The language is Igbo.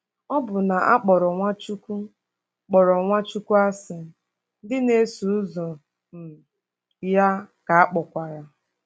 Ọbụna a kpọrọ Nwachukwu kpọrọ Nwachukwu asị, ndị na-eso ụzọ um ya ka a kpọkwara.